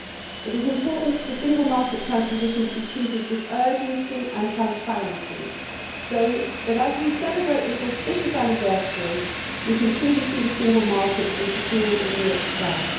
It is important for single market transposition to be treated with urgency and transparency, so that, as we celebrate this auspicious anniversary, we can truly see the single market as the jewel in Europe's crown.